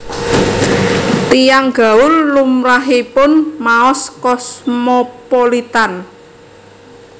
Tiyang gaul lumrahipun maos Cosmopolitan